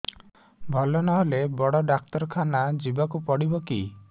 ଭଲ ନହେଲେ ବଡ ଡାକ୍ତର ଖାନା ଯିବା କୁ ପଡିବକି